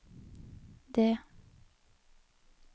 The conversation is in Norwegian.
det